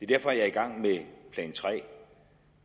derfor jeg er i gang med plan tre